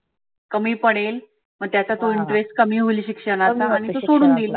कमी पडेल मग त्याचा तो interest कमी होईल शिक्षणाचा आणि तो सोडून देईल.